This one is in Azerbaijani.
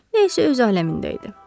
Nə isə öz aləmində idi.